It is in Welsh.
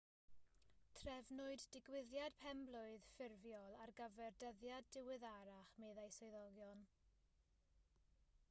trefnwyd digwyddiad pen-blwydd ffurfiol ar gyfer dyddiad diweddarach meddai swyddogion